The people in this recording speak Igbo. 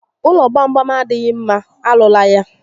Ụlọ gbam gbam adịghị mma, arụla ya